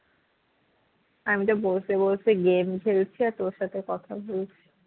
আমি যা বসে বসে game খেলছি আর তোর সাথে কথা বলছি